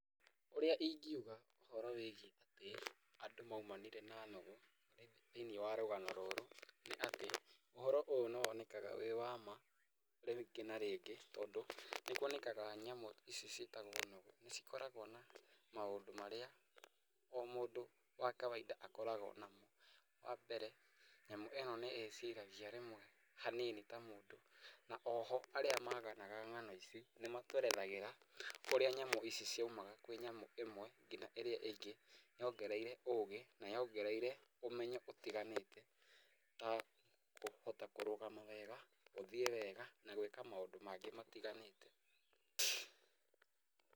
Ũrĩa ingiuga ũhoro wĩgiĩa atĩ andũ maumanire na nũgũ, thĩ-inĩ wa rũgano rũrũ, atĩ, ũhoro ũyũ nĩ wonekaga wĩ waama rĩngĩ na rĩngĩ tondĩ nĩ kuonekaga nyamũ ici ciĩtagwo nũgũ nĩ cikoragwa na maũndũ marĩa o mũndũ wa kawaida akoragwa namo, wa mbere nyamũ ĩno nĩ ĩciragia rĩmwe hanini ta mũndũ, na oho, arĩa maganaga ng'ano ici nĩ matũerethagĩra ũrĩa nyamĩ ici ciaumaga kwĩ nyamũ ĩmwe nginya ĩrĩa ĩngĩ yongereire ũgĩ na yongereire ũmenyo ũtiganĩte, ta kũrũgama wega, gũthiĩ wega na gũĩka maũndũ mangĩ matiganĩte.